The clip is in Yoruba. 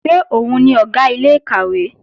Ṣé òun ni Ọ̀gá ilé-ìkàwé?